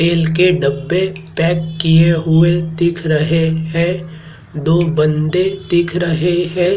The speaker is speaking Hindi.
तेल के डब्बे पैक किए हुए दिख रहे हैं दो बंदे दिख रहे हैं।